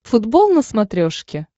футбол на смотрешке